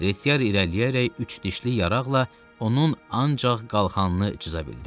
Retiari irəliləyərək üç dişli yaraqla onun ancaq qalxanını cıza bildi.